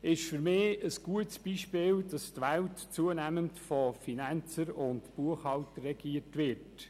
Für mich ist dies ein gutes Beispiel dafür, dass die Welt zunehmend von Finanziers und Buchhaltern regiert wird.